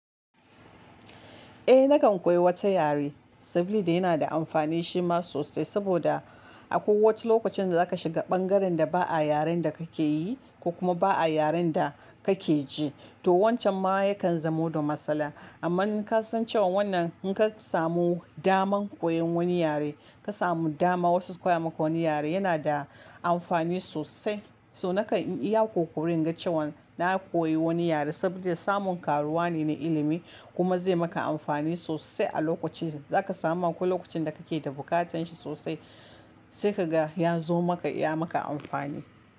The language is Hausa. Eh nakan koyi wata yare, sabili da yana da amfani shi ma sosai, saboda akwai wace lokacin da za ka shiga ɓangaren da ba'a yaren da ka ke yi, ko kuma ba'a yaren da ka ke ji, to wancan ma ya kan zamo da matsala. Amma in ka san cewa wannan, in ka samu daman koyan wani yare, ka samu dama wasu su koya maka wani yare, yana da amfani sosai. To nakan yi iya ƙoƙari in ga cewan na koyi wani yare, saboda samun karuwa ne na ilimi, kuma zai maka amfani sosai a lokacin, da za ka samu akwai lokacin da ka ke da buƙatanshi sosai sai kaga ya zo maka ya maka amfani.